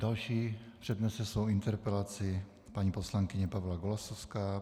Další přednese svou interpelaci paní poslankyně Pavla Golasowská.